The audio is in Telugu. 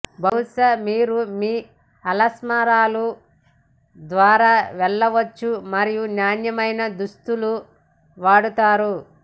బహుశా మీరు మీ అల్మారాలు ద్వారా వెళ్ళవచ్చు మరియు నాణ్యమైన దుస్తులు వాడతారు